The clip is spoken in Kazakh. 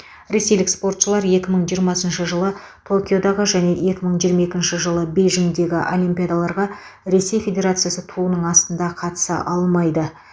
ресейлік спортшылар екі мың жиырмасыншы жылы токиодағы және екі мың жиырма екінші жылы бейжіңдегі олимпиадаларға ресей федерациясы туының астында қатыса алмайды